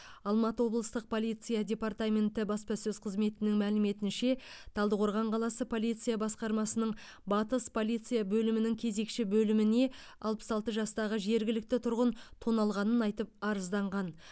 алматы облыстық полиция департаменті баспасөз қызметінің мәліметінше талдықорған қаласы полиция басқармасының батыс полиция бөлімінің кезекші бөліміне алпыс алты жастағы жергілікті тұрғын тоналғанын айтып арызданған